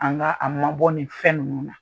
An ka a mabɔ ni fɛn ninnu na.